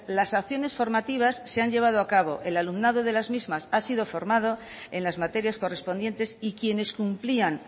las acciones formativas se han llevado a cabo el alumnado de las mismas ha sido formado en las materias correspondientes y quienes cumplían